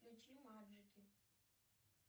включи маджики